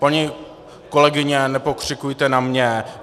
Paní kolegyně, nepokřikujte na mě.